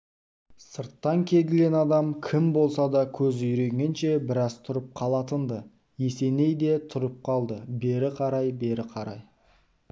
сырттан келген адам кім болса да көзі үйренгенше біраз тұрып қалатын-ды есеней де тұрып қалды бері қарай бері қарай